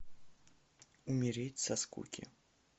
умереть со скуки